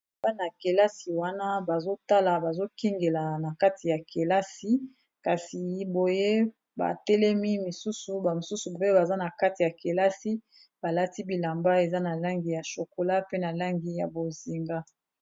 Bana kelasi wana bazotala bazokingela na kati ya kelasi kasi boye batelemi misusu bamosusu pe baza na kati ya kelasi balati bilamba eza na langi ya shokola pe na langi ya bozinga